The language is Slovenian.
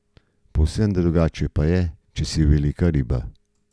Povsem drugače pa je, če si velika riba.